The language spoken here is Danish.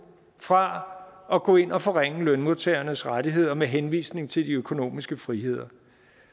fra at gå ind og forringe lønmodtagernes rettigheder med henvisning til de økonomiske friheder